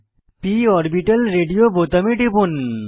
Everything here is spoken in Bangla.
p অরবিটাল রেডিও বোতামে টিপুন